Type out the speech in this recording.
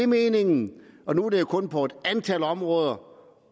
meningen er nu er det jo kun på et antal områder